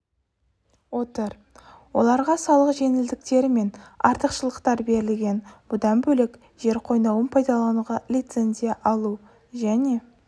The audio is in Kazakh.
отыр оларға салық жеңілдіктері мен артықшылықтар берілген бұдан бөлек жер қойнауын пайдалануға лицензия алу және